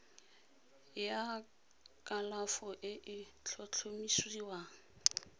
ya kalafo e e tlhotlhomisiwang